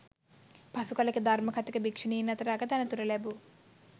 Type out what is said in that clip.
පසුකලෙක ධර්ම කථික භික්ෂුණීන් අතර අගතනතුර ලැබූ